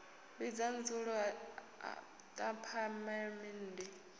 vhidza dzulo ḽa phaḽamennde u